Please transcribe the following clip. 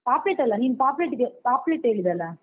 Puppet ಅಲ್ಲ ನೀನ್ puppet ಪಾಪ್ಲೆಟ್ ಹೇಳಿದಲ್ಲ.